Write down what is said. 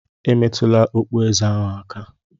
Emetụla okpueze ahụ aka!